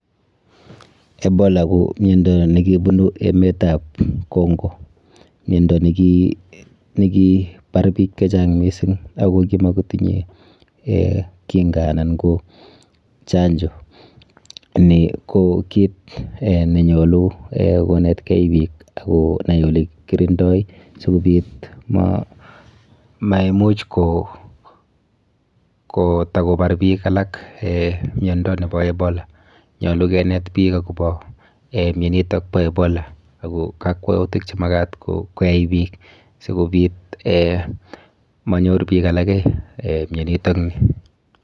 Ebola ko miondo nekibunu emetab Congo, miondo nekibar biik chechang mising ak ko kimokotinye kinga anan ko chanjo, nii ko kiit nenyolu konetke biik ak konai olekikirindoi sikobiit ko maimuch kotakobar biik alak miondo nebo Ebola, nyolu kinet biik akobo mionitok bo Ebola ak kakwautik chemakat koyai biik sikobit monyor biik alak mionitok nii.